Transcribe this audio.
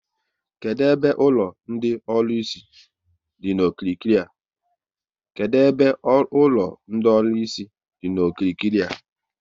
Kedụ ebe ụlọ ndị ọlụsị dị n'okirikiri a?